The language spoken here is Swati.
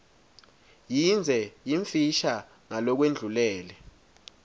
yindze yimfisha ngalokwendlulele